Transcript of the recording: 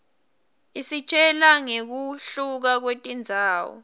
isitjela ngekuhluka kwetindzawo